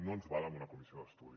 no ens val amb una comissió d’estudi